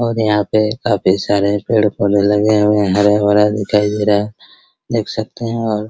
और यहाँ पे काफी सारे पेड़-पौधे लगे हुए हैं हरा-भरा दिखाई दे रहा है देख सकते है और --